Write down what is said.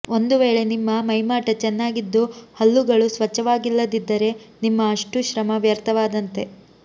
ಒಂದು ವೇಳೆ ನಿಮ್ಮ ಮೈಮಾಟ ಚೆನ್ನಾಗಿದ್ದು ಹಲ್ಲುಗಳು ಸ್ವಚ್ಛವಾಗಿಲ್ಲದಿದ್ದರೆ ನಿಮ್ಮ ಅಷ್ಟೂ ಶ್ರಮ ವ್ಯರ್ಥವಾದಂತೆ